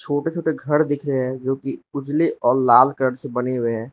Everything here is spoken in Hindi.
छोटे छोटे घर दिखे हैं जो की उजाले और लाल कलर से बने हुए हैं।